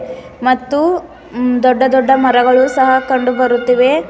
ಮತ್ತು ಮ್ ದೊಡ್ಡ ದೊಡ್ಡ ಮರಗಳು ಸಹ ಕಂಡು ಬರುತ್ತಿವೆ.